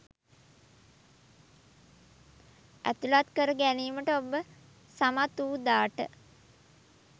ඇතුළත් කර ගැනීමට ඔබ සමත් වූ දාට